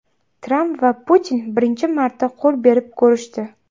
Tramp va Putin birinchi marta qo‘l berib ko‘rishdi .